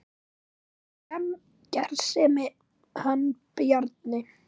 Hann var gersemi hann Bjarni.